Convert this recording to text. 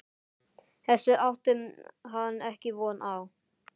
Þessu átti hann ekki von á.